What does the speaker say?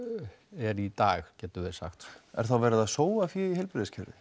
er í dag getum við sagt er þá verið að sóa fé í heilbrigðiskerfinu